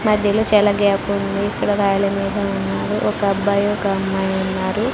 మధ్యలో చాలా గ్యాపుంది ఇక్కడ రాయల మీద ఉన్నారు ఒకబ్బాయి అమ్మాయున్నారు.